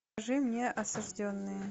покажи мне осужденные